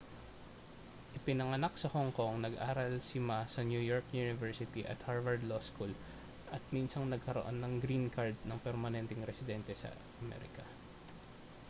ipinanganak sa hong kong nag-aral si ma sa new york university at harvard law school at minsang nagkaroon ng green card ng permanenteng residente ng amerika